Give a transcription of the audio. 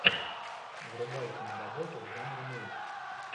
врубай киноработу в жанре мульт